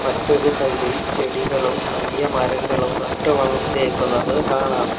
മറ്റൊരു സൈഡ് ഇൽ ചെടികളും വലിയ മരങ്ങളും നട്ടുവളർത്തിയേക്കുന്നത് കാണാം.